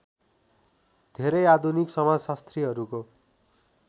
धेरै आधुनिक समाजशास्त्रीहरूको